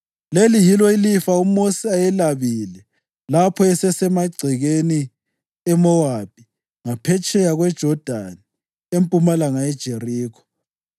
Leli yilo ilifa uMosi ayelabile lapho esasemagcekeni eMowabi ngaphetsheya kweJodani empumalanga yeJerikho.